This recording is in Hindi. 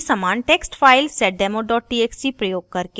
वही समान text file seddemo txt प्रयोग करके